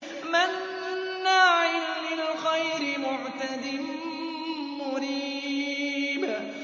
مَّنَّاعٍ لِّلْخَيْرِ مُعْتَدٍ مُّرِيبٍ